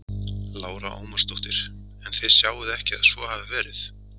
Lára Ómarsdóttir: En þið sjáið ekki að svo hafi verið?